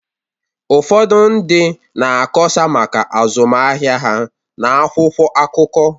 Ụfọdụ ndị na-akọsa maka azụmahịa ha n’akwụkwọ akụkọ